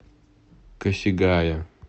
косигая